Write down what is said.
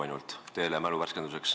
See oli teie mälu värskenduseks.